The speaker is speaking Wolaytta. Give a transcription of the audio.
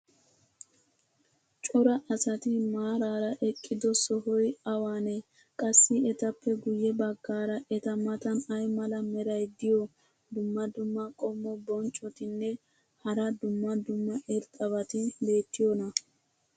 cora asati maarara eqqido sohoy awaanee? qassi etappe guye bagaara eta matan ay mala meray diyo dumma dumma qommo bonccotinne hara dumma dumma irxxabati beetiyoonaa?